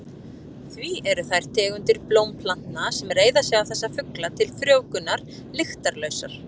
Því eru þær tegundir blómplantna sem reiða sig á þessa fugla til frjóvgunar lyktarlausar.